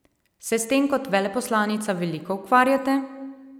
Se s tem kot veleposlanica veliko ukvarjate?